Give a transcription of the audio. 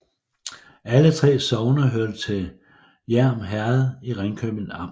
Alle 3 sogne hørte til Hjerm Herred i Ringkøbing Amt